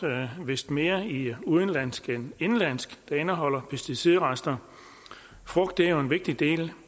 vist mere i udenlandsk end indenlandsk der indeholder pesticidrester frugt er jo en vigtig del